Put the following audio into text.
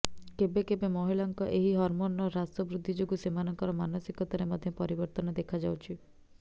କେବେ କେବେ ମହିଳାଙ୍କ ଏହି ହର୍ମୋନର ହ୍ରାସ ବୃଦ୍ଧି ଯୋଗୁ ସେମାନଙ୍କର ମାନସିକତାରେ ମଧ୍ୟ ପରିବର୍ତ୍ତନ ଦେଖାଯାଉଛି